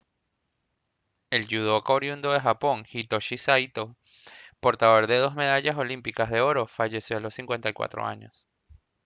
el yudoca oriundo de japón hitoshi saito portador de dos medallas olímpicas de oro falleció a los 54 años